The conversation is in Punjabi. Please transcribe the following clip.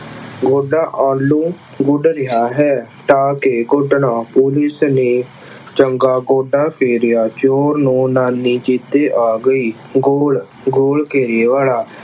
ਗੋਡਾ ਆਲੂ ਗੁੱਡ ਰਿਹਾ ਹੈ। ਪਾ ਕੇ ਕੁੱਟਣਾ police ਨੇ ਚੰਗਾ ਗੋਡਾ ਫੇਰਿਆ ਚੋਰ ਨੂੰ ਨਾਨੀ ਚੇਤੇ ਆ ਗਈ। goal ਘੇਰੇ ਵਾਲਾ